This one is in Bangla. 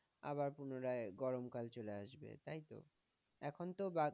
আবার পুনারাই গরমকাল চলে আসবে তাইতো? এখন তো বাকি